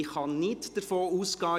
Ich kann nicht Gedanken lesen.